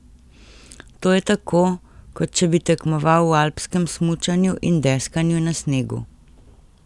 To je tako, kot če bi tekmoval v alpskem smučanju in deskanju na snegu.